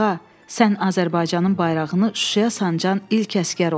Qağa, sən Azərbaycanın bayrağını Şuşaya sancan ilk əsgər oldun.